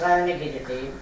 Rayona gedəcəyəm.